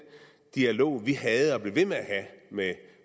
dialog vi havde og blev ved med at have med